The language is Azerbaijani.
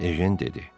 Ejen dedi: